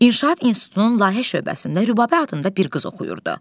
İnşaat institutunun layihə şöbəsində Rübabə adında bir qız oxuyurdu.